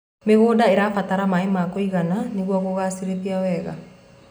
mĩgũnda irabatara maĩ ma kũigana nĩguo guciarithia wega